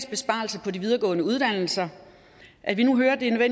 besparelser på de videregående uddannelser at vi nu hører at det er